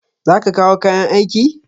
Za ka kawo kayan aiki?